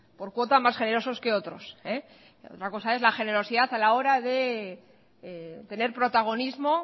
por cuota más generosos que otros otra cosa es la generosidad a la hora de tener protagonismo